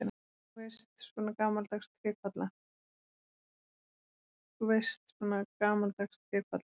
Þú veist, svona gamaldags trékolla.